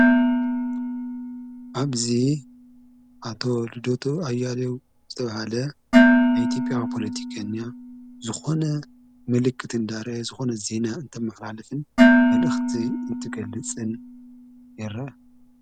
ኣብዚ ኣቶ ልደቱ ኣያሌው ዝተብሃለ ኢትዮጵያዊ ፖለቲከኛ ዝኾነ ምልክት ንዳረየ ዝኾነ ዜና እንተመሓላልፍን መልእኽቲ እንትገልጽን የረአ።